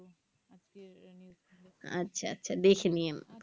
আচ্ছা আচ্ছা দেখে নিয়েন